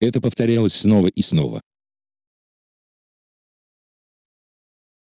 это повторялось снова и снова